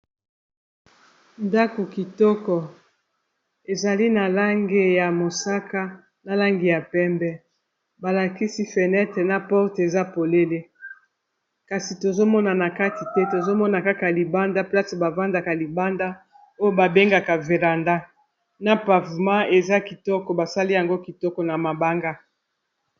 Ndako kitoko ezali na lange ya mosaka na lange ya pembe balakisi fenêtre na porte eza polele kasi tozomona na kati te tozomona kaka libanda place bavandaka libanda oyo babengaka veranda na pavema eza kitoko basali yango kitoko na mabanga.